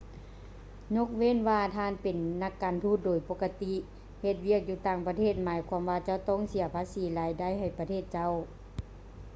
ຍົກເວັ້ນວ່າທ່ານເປັນນັກການທູດ ໂດຍປົກກະຕິເຮັດວຽກຢູ່ຕ່າງປະເທດໝາຍຄວາມວ່າເຈົ້າຈະຕ້ອງເສຍພາສີລາຍໄດ້ໃຫ້ປະເທດເຈົ້າ